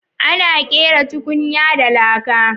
Ana kera tukunya da laka.